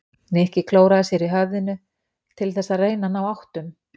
Nikki klóraði sér í höfðinu til þess að reyna að ná áttum.